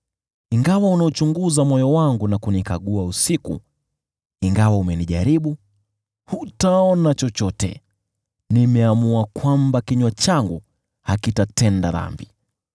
Ingawa unauchunguza moyo wangu na kunikagua usiku, ingawa umenijaribu, hutaona chochote. Nimeamua kwamba kinywa changu hakitatenda dhambi.